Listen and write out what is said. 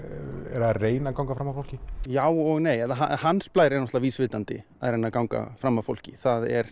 reyna að ganga fram af fólki já og nei hans Blær er náttúrulega vísvitandi að reyna að ganga fram af fólki það er